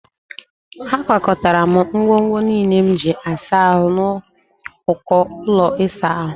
Akwakọtara m ngwongwo niile m ji asa ahụ n'uko ụlọ ịsa ahụ